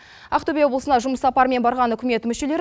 ақтөбе облысына жұмыс сапарымен барған үкімет мүшелері